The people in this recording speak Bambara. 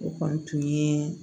O kɔni tun ye